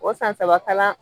O san saba kalan